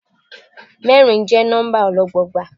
Mẹ́rin jẹ́ nọ́mbà ọlọ́gbọọgba.